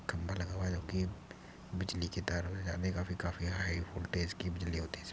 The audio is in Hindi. खंभा लगा हुआ है जब की बिजली के तार में जाने काफी हाई वोल्टेज की बिजली होती है इसमें --